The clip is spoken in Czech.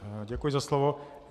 Děkuji za slovo.